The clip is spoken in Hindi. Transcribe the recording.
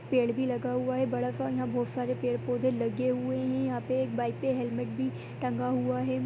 पेड़ भी लगा हुआ है बड़ा सा बहुत सारे पेड़-पौधे लगे हुए है यहां पे एक बाइक पे हेल्मेट भी टांगा हुआ है।